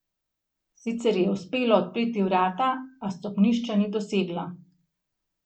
Sicer ji je uspelo odpreti vrata, a stopnišča ni dosegla.